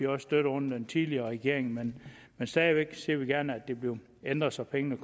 også støttet under den tidligere regering men stadig væk ser vi gerne at det bliver ændret så pengene